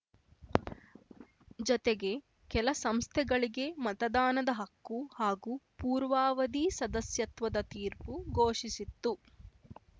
ಜತೆಗೆ ಕೆಲ ಸಂಸ್ಥೆಗಳಿಗೆ ಮತದಾನದ ಹಕ್ಕು ಹಾಗೂ ಪೂರ್ವಾವಧಿ ಸದಸ್ಯತ್ವದ ತೀರ್ಪು ಘೋಷಿಸಿತ್ತು